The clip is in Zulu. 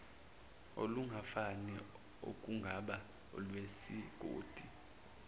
olungafani okungaba olwesigodi